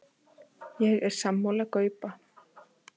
Ég er sammála Gaupa.